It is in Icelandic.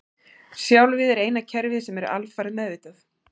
Sjálfið er eina kerfið sem er alfarið meðvitað.